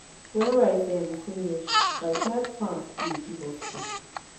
when rice um finish backyard farm still dey give us hope.